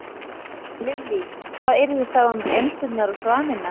Lillý: Hvað yrði þá um endurnar og svanina?